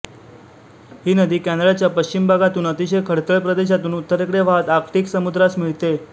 ही नदी कॅनडाच्या पश्चिम भागातून अतिशय खडतर प्रदेशातून उत्तरेकडे वाहत आर्क्टिक समुद्रास मिळते